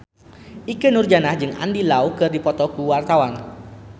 Ikke Nurjanah jeung Andy Lau keur dipoto ku wartawan